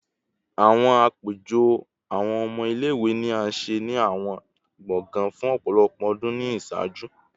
Awọn apejọ awọn ọmọ ile-iwe ni a ṣe ni awọn gbọngàn fun ọpọlọpọ ọdun ni iṣaaju